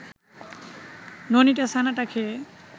ননীটা ছানাটা খেয়ে